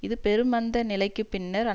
இது பெருமந்த நிலைக்கு பின்னர்